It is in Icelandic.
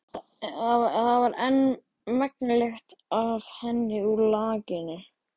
Það var enn megn lykt af henni úr lakinu.